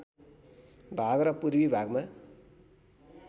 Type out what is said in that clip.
भाग र पूर्वी भागमा